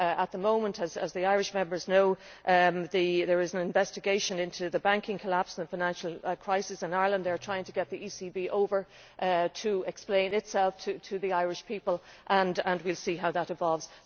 At the moment, as the Irish Members know, there is an investigation into the banking collapse and the financial crisis in Ireland. They are trying to get the ECB over to explain itself to the Irish people, and we will see how that evolves.